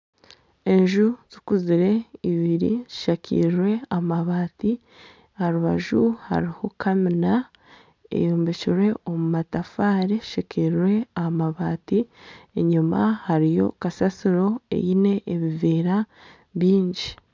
Enju zikuzire ibiri zishakirwe amabaati aha rubaju hariho kamiina eyombekirwe omu matafaari eshakirwe amabaati enyima hariyo kasasiro eine ebiveera bingi.